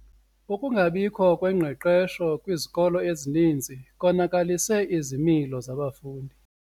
Ukungabikho kwengqeqesho kwizikolo ezininzi konakalise izimilo zabafundi.